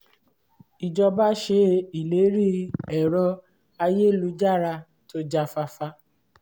ìjọba ṣe ìlérí ẹ̀rọ-ayélujára tó já fáfá